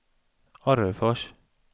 Orrefors